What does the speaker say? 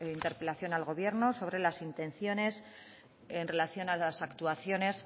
interpelación al gobierno sobre las intenciones en relación a las actuaciones